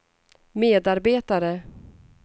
medarbetare